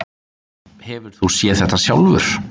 Hefur þú séð þetta sjálfur?